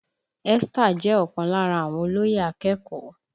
Esther jẹ́ ọ̀kan lára àwọn olóyè akẹ́kọ̀ọ́